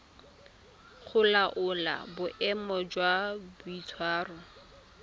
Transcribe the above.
go laola boemo jwa boitshwaro